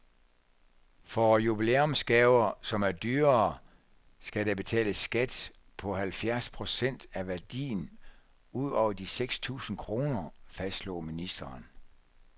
For jubilæumsgaver, som er dyrere, skal der betales skat på halvfjerds procent af værdien ud over de seks tusind kroner, fastslog ministeren.